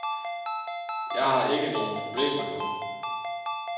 Jeg har ikke nogen problemer nu.